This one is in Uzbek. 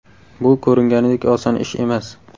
Bu ko‘ringanidek oson ish emas.